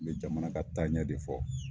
N bɛ jamana ka taaɲɛ de fɔ.